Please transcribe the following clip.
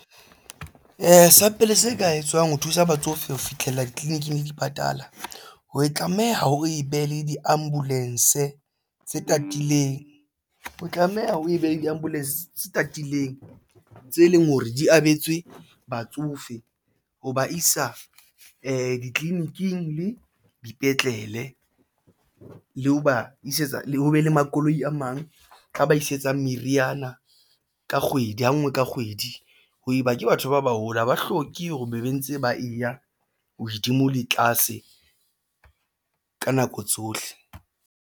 Sa pele se ka etswang ho thusa batsofe ho fihlella ditleliniking le dipatala ho e tlameha o e be le diambulance tse tatileng, o tlameha o e behe diambulance tatileng tse leng hore di abetse batsofe ho ba isa ditliliniking le dipetlele le ho ba isetsa le ho be le makoloi a mang ka ba isetsang meriana ka kgwedi ha ngwe ka kgwedi. Ha eba ke batho ba baholo ha ba hloke hore o be be ntse ba e ya hodimo le tlase ka nako tsohle.